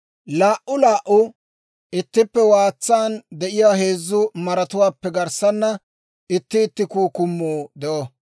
Laa"uu laa"uu ittippe waatsan de'iyaa heezzu maratuwaappe garssana itti itti kukkumuu de'o.